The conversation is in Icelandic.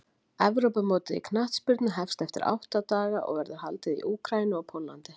Evrópumótið í knattspyrnu hefst eftir átta daga og verður haldið í Úkraínu og Póllandi.